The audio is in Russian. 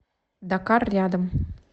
дакар рядом